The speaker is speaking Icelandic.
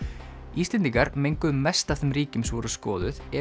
Íslendingar menguðu mest af þeim ríkjum sem voru skoðuð ef